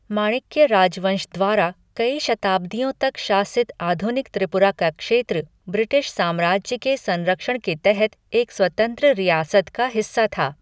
माणिक्य राजवंश द्वारा कई शताब्दियों तक शासित आधुनिक त्रिपुरा का क्षेत्र ब्रिटिश साम्राज्य के संरक्षण के तहत एक स्वतंत्र रियासत का हिस्सा था।